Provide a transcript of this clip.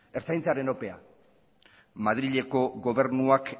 ertzaintzaren ope madrileko gobernuak